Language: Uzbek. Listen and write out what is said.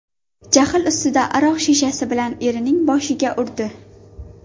jahl ustida aroq shishasi bilan erining boshiga urdi.